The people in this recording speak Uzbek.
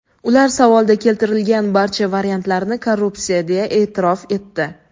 ular savolda keltirilgan barcha variantlarni korrupsiya deya e’tirof etdi.